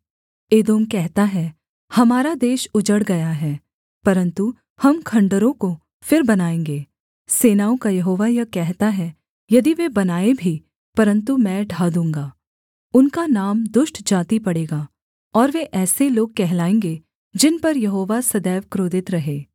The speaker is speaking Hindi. एदोम कहता है हमारा देश उजड़ गया है परन्तु हम खण्डहरों को फिर बनाएँगे सेनाओं का यहोवा यह कहता है यदि वे बनाएँ भी परन्तु मैं ढा दूँगा उनका नाम दुष्ट जाति पड़ेगा और वे ऐसे लोग कहलाएँगे जिन पर यहोवा सदैव क्रोधित रहे